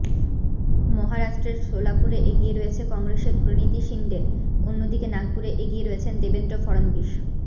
মহারাষ্ট্রের শোলাপুরে এগিয়ে রয়েছে কংগ্রেসের প্রণীতি শিন্ডে অন্যদিকে নাগপুরে এগিয়ে রয়েছেন দেবেন্দ্র ফড়নবীশ